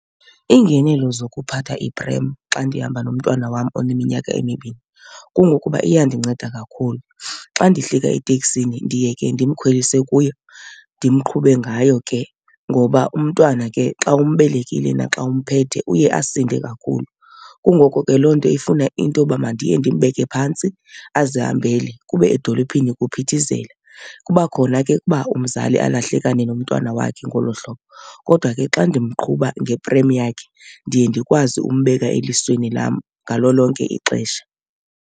Iingenelo zokuphatha iprem xa ndihamba nomntwana wam oneminyaka emibini kungokuba iyandinceda kakhulu. Xa ndihlika eteksini ndiye ke ndimkhwelise kuyo ndimqhube ngayo ke, ngoba umntwana ke xa umbelekile naxa umphethe uye asinde kakhulu. Kungoko ke loo nto ifuna into yoba mandiye ndimbeke phantsi azihambele kube edolophini kuphithizela. Kuba khona ke uba umzali alahlekane nomntwana wakhe ngolo hlobo, kodwa ke xa ndimqhuba ngeprem yakhe ndiye ndikwazi umbeka elisweni lam ngalo lonke ixesha.